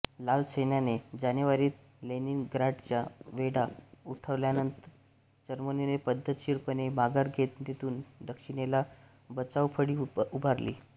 लाल सैन्याने जानेवारीत लेनिनग्राडचा वेढा उठवल्यावर जर्मनीने पद्धतशीरपणे माघार घेत तेथून दक्षिणेला बचावफळी उभारली